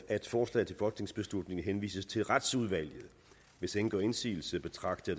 at forslaget til folketingsbeslutning henvises til retsudvalget hvis ingen gør indsigelse betragter